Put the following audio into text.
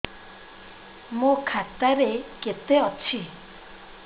ମୋ ଖାତା ରେ କେତେ ଅଛି